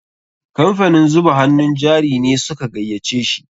Kamfanin zuba hannun jari ne su ka gayyace shi.